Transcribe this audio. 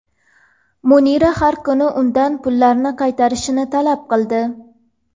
Munira har kuni undan pullarni qaytarishini talab qildi.